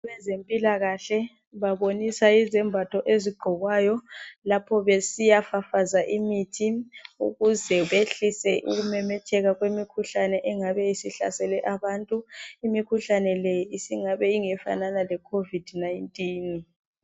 Abezempilakahle babonisa izembatho ezigqokwayo lapho besiyafafaza imithi ukuze behlise ukumemetheka kwemikhuhlane engabe isihlasela abantu imikhuhlane le isingabe ingefana le COVID 19.